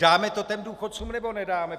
Dáme to těm důchodcům, nebo nedáme?